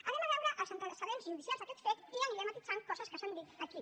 vegem els antecedents judicials d’aquest fet i aniré matisant coses que s’han dit aquí